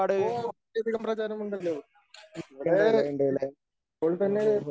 ഓ ഇവിടെ ഇപ്പോൾ തന്നെ